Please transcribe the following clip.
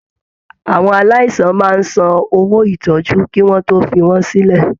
Àwọn aláìsàn máa n sàn owó ìtọjú kí wọn tó fí wọn sílẹ.